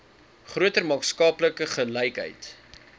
groter maatskaplike gelykheid